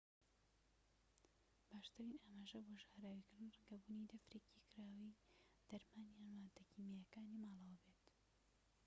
باشترین ئاماژە بۆ ژەهراویکردن ڕەنگە بوونی دەفرێکی کراوەی دەرمان یان ماددە کیماییەکانی ماڵەوە بێت